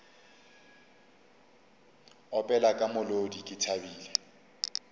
opela ka molodi ke thabile